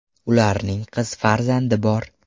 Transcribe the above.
Ularning qiz farzandi bor.